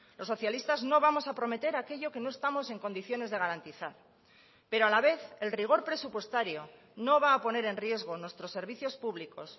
los socialistas no vamos a prometer aquello que no estamos en condiciones de garantizar pero a la vez el rigor presupuestario no va a poner en riesgo nuestros servicios públicos